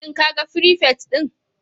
Shin kaga firifet din?